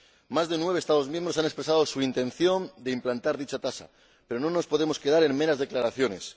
Más de nueve Estados miembros han expresado su intención de implantar dicho impuesto, pero no nos podemos quedar en meras declaraciones.